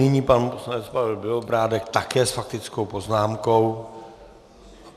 Nyní pan poslanec Pavel Bělobrádek také s faktickou poznámkou.